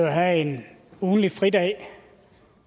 have en ugentlig fridag